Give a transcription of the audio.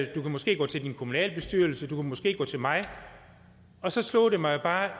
du kan måske gå til din kommunalbestyrelse du kan måske gå til mig og så slog det mig bare